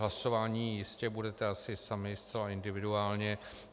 Hlasovat jistě budete asi sami, zcela individuálně.